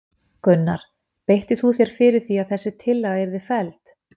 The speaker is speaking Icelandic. Gunnar: Beittir þú þér fyrir því að þessi tillaga yrði felld?